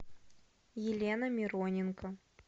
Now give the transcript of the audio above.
елена мироненко